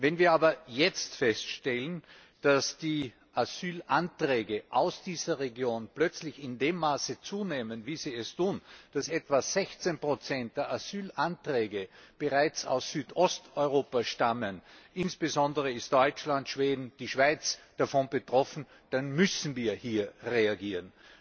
Wenn wir aber jetzt feststellen, dass die Asylanträge aus dieser Region plötzlich in dem Maße zunehmen, wie sie es tun, dass etwa 16 der Asylanträge bereits aus Südosteuropa stammen insbesondere sind Deutschland, Schweden und die Schweiz davon betroffen dann müssen wir hier reagieren.